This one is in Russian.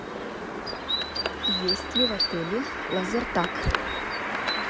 есть ли в отеле лазертаг